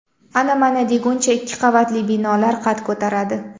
Ana-mana deguncha ikki qavatli binolar qad ko‘taradi.